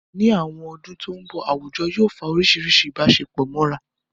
Ní àwọn ọdún tó mbọ̀, àwùjọ yóò fa oríṣiríṣi ìbáṣepọ̀ mọ́ra